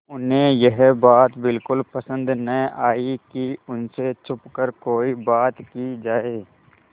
उन्हें यह बात बिल्कुल पसन्द न आई कि उन से छुपकर कोई बात की जाए